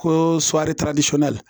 Ko